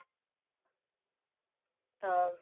ਤਾਂ